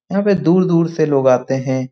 यहाँ पे दूर-दूर से लोग आते हे ।